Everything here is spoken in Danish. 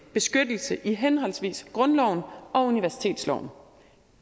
beskyttelse i henholdsvis grundloven og universitetsloven